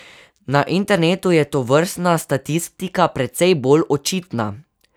Na internetu je tovrstna statistika precej bolj očitna.